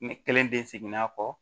Ne kelen de seginna kɔ